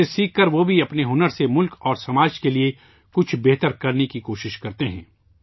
اس سے سیکھ کر وہ بھی اپنے ہنر سے ملک اور سماج کے لیے کچھ بہتر کرنے کی کوشش کرتے ہیں